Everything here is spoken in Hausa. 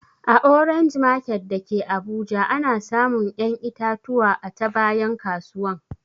A orange market dake abuja ana samun ƴan itatuwa a ta bayan kasuwan